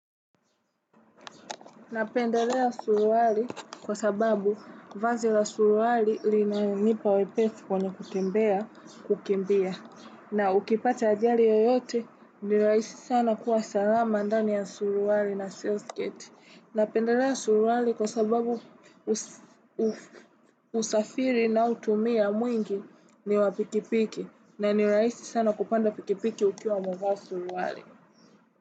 Napendelea suruali kwa sababu vazi la suruari linanipa wepesi kwenye kutembea kukimbia. Na ukipata ajali yoyote nirahisi sana kuwa salama ndani ya suruari na sales gate. Napendelea suruali kwa sababu usafiri ninaotumia mwingi ni wa pikipiki. Na nirahisi sana kupanda pikipiki ukiwa umevaa suruali.